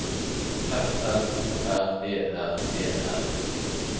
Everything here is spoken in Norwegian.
F L O R E R E R